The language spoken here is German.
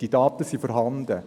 Diese Daten sind vorhanden.